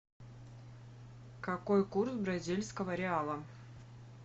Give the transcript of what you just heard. какой курс бразильского реала